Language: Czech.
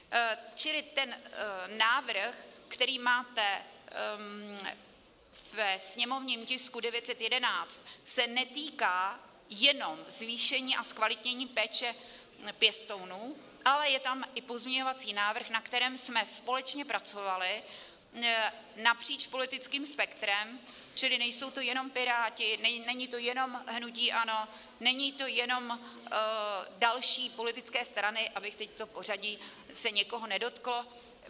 Čili ten návrh, který máte ve sněmovním tisku 911, se netýká jenom zvýšení a zkvalitnění péče pěstounů, ale je tam i pozměňovací návrh, na kterém jsme společně pracovali napříč politickým spektrem, čili nejsou to jenom Piráti, není to jenom hnutí ANO, není to jenom - další politické strany, aby teď to pořadí se někoho nedotklo.